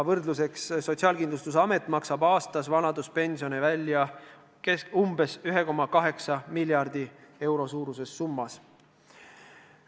Võrdluseks: Sotsiaalkindlustusamet maksab aastas vanaduspensionit umbes 1,8 miljardi euro suuruses summas.